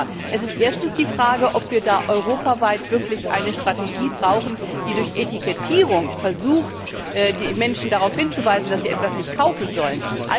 Aber es ist erstens die Frage, ob wir da wirklich europaweit eine Strategie brauchen, die durch Etikettierung versucht, die Menschen darauf hinzuweisen, dass sie etwas nicht kaufen sollen.